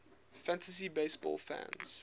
fantasy baseball fans